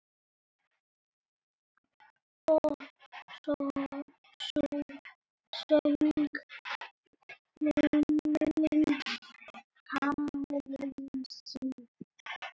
Og sú söng, fullum hálsi!